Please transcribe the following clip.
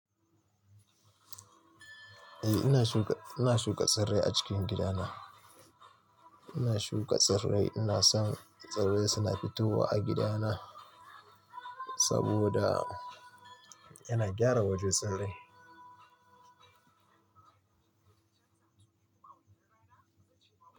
Eh ina shuka, ina shuka tsirrai a cikin gidana. Ina shuka tsirrai, ina son tsirrai suna fitowa a gidana saboda yana gyara waje tsirrai.